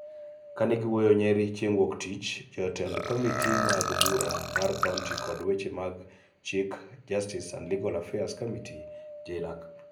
Ka ne giwuoyo Nyeri e chieng� Wuok Tich, jotend komite mag bura mar kaonti kod weche mag chik Justice and Legal Affairs Committees (JLAC)